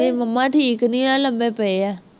ਮੇਰੀ ਮੰਮਾ ਠੀਕ ਨਹੀਂ ਹੈ, ਲੰਮੇ ਪਏ ਹੈ,